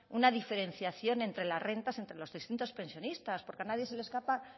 una diferenciación entre las rentas entre los distintos pensionistas porque a nadie se le escapa